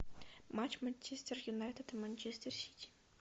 матч манчестер юнайтед и манчестер сити